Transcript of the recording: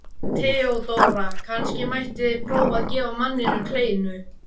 THEODÓRA: Kannski mætti prófa að gefa manninum kleinu?